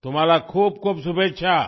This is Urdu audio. آپ کے لئے بہت بہت نیک خواہشات